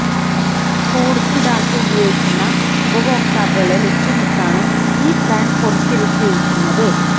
കൂടുതൽ ഡാറ്റ ഉപയോഗിക്കുന്ന ഉപയോക്താക്കളെ ലക്ഷ്യമിട്ടാണ് ഈ പ്ലാൻ പുറത്തിറക്കിയിരിക്കുന്നത്